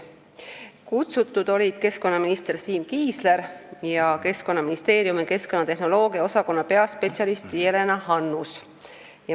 Kohale olid kutsutud keskkonnaminister Siim Kiisler ja Keskkonnaministeeriumi keskkonnatehnoloogia osakonna peaspetsialist Jelena Hannus.